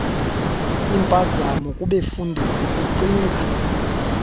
impazamo kubefundisi kukucinga